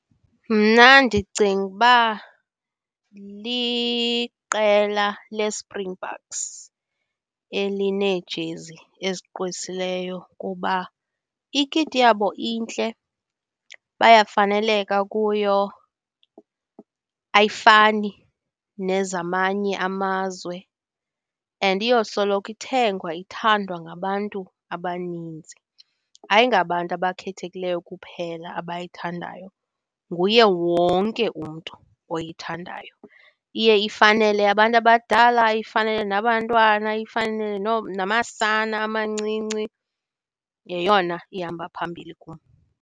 Mna ndicinga ukuba liqela leSpringboks elineejezi ezigqwesileyo kuba ikiti yabo intle, bayafaneleka kuyo, ayifani nezamanye amazwe, and iyosoloko ithengwa ithandwa ngabantu abaninzi. Ayingabantu abakhethekileyo kuphela abayithandayo, nguye wonke umntu oyithandayo. Iye ifanele abantu abadala, ifanele nabantwana, ifanele namasana amancinci, yeyona ihamba phambili kum.